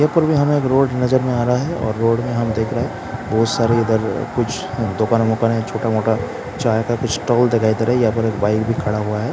हमें अब रोड नजर में आ रहा है और रोड में हम देख रहे हैं बहोत सारे इधर कुछ दुकानें वुकानें है छोटा मोटा चाय का एक स्टॉल यहाँ पर बाइक भी खड़ा हुआ है।